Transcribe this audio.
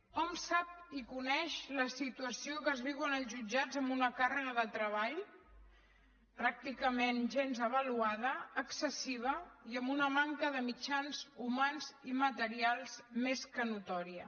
hom sap i coneix la situació que es viu als jutjats amb una càrrega de treball pràcticament gens avaluada excessiva i amb una manca de mitjans humans i materials més que notòria